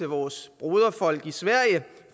vores broderfolk i sverige